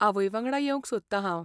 आवयवांगडा येवंक सोदता हांव.